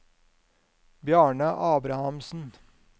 Bjarne Abrahamsen